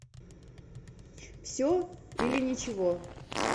все или ничего